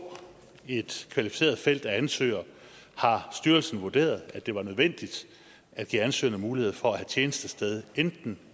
et kvalificeret felt af ansøgere har styrelsen vurderet at det var nødvendigt at give ansøgerne mulighed for at have tjenestested enten